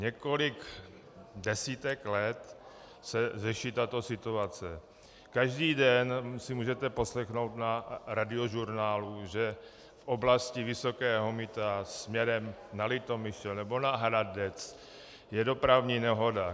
Několik desítek let se řeší tato situace: Každý den si můžete poslechnout na Radiožurnálu, že v oblasti Vysokého Mýta směrem na Litomyšl nebo na Hradec je dopravní nehoda.